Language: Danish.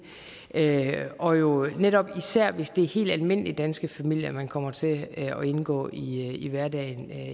og jo netop især hvis det er helt almindelige danske familier man kommer til at indgå i hverdagen med